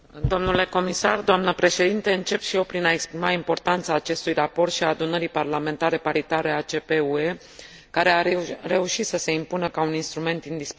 Încep și eu prin a exprima importanța acestui raport și a Adunării Parlamentare Paritare ACP UE, care a reușit să se impună ca un instrument indispensabil în cooperarea nord sud.